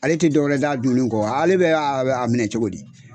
Ale tɛ dɔwɛrɛ dɔ a dunni kɔ ale bɛ a minɛ cogo di.